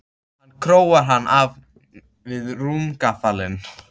Hún króar hann af við rúmgaflinn.